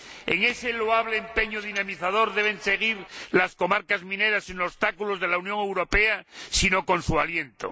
En ese loable empeño dinamizador deben seguir las comarcas mineras sin obstáculos de la Unión Europea, sino con su aliento.